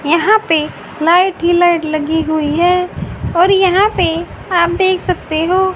यहां पे लाइट ही लाइट लगी हुई है और यहां पे आप देख सकते हो--